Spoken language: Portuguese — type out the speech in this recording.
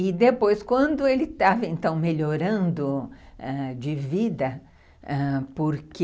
E depois, quando ele estava melhorando de vida, porque...